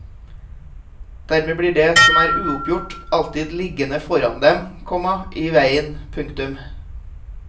Dermed blir det som er uoppgjort alltidd liggende foran dem, komma i veien. punktum